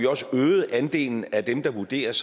også øget andelen af dem der vurderes